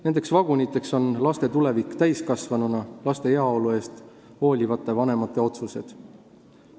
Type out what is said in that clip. Nendeks vaguniteks on laste tulevik täiskasvanuna ja laste heaolust hoolivate vanemate otsused.